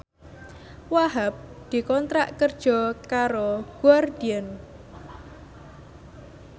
Wahhab dikontrak kerja karo Guardian